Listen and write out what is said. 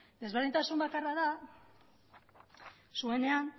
desberdintasun bakarra da zuenean